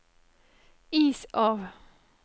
is av